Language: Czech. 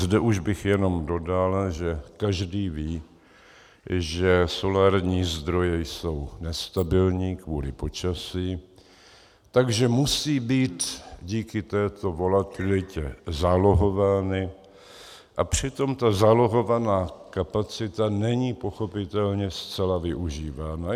Zde už bych jenom dodal, že každý ví, že solární zdroje jsou nestabilní kvůli počasí, takže musí být díky této volatilitě zálohovány, a přitom ta zálohovaná kapacita není pochopitelně zcela využívána.